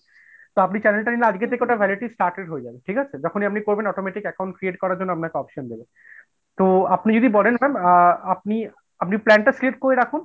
তো আপনি channel টা নিলে আজকে থেকে ওটার validity started হয়ে যাবে ঠিক আছে? যখনই আপনি করবেন automatic account create করার জন্য আপনাকে option দেবে তো আপনি যদি বলেন ma'am আ~আ আপনি আপনি plan টা select করে রাখুন।